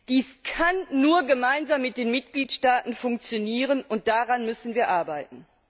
Dies kann nur gemeinsam mit den Mitgliedstaaten funktionieren, und daran müssen wir arbeiten.